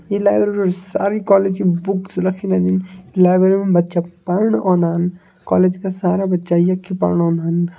ई library सारी college की books रखी मेनी। लाइब्रेरी में बच्चा पढ़ण ओदन। कॉलेज का सारा बच्चा यख्खी पढ़ण ओदन।